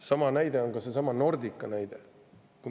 Samasugune on Nordica näide.